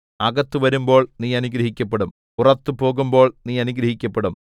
അകത്ത് വരുമ്പോൾ നീ അനുഗ്രഹിക്കപ്പെടും പുറത്തു പോകുമ്പോൾ നീ അനുഗ്രഹിക്കപ്പെടും